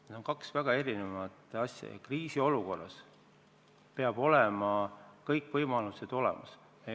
Need on kaks väga erinevat asja ja kriisiolukorras peavad kõik võimalused olemas olema.